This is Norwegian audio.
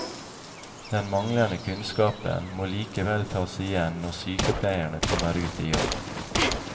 Den manglende kunnskapen må likevel tas igjen når sykepleierne kommer ut i jobb.